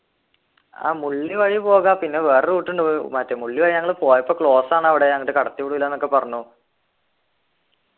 ആഹ് മുള്ളി വഴി പോകാം പിന്നെ വേറെ route ഉണ്ട് ഏർ മറ്റേ മുള്ളി വഴി ഞങ്ങള് പോയപ്പോ close ആണ് അവിടെ അങ്ങോട്ട് കടത്തി വിടൂലന്നൊക്കെ പറഞ്ഞു